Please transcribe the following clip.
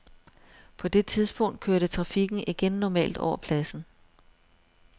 På det tidspunkt kørte trafikken igen normalt over pladsen.